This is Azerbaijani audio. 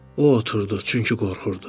O oturdu, çünki qorxurdu.